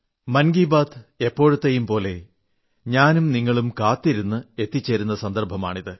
മൻ കി ബാത് എപ്പോഴത്തെയും പോലെ ഞാനും നിങ്ങളും കാത്തിരുന്ന് എത്തിച്ചേരുന്ന സന്ദർഭമാണ്